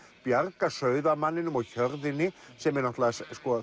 bjarga sauðamanninum og hjörðinni sem er